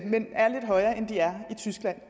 men er lidt højere end de er i tyskland